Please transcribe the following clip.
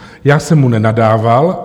Já jsem mu nenadával.